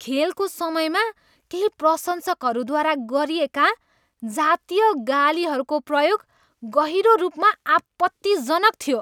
खेलको समयमा केही प्रशंसकहरूद्वारा गरिएका जातीय गालीहरूको प्रयोग गहिरो रूपमा आपत्तिजनक थियो।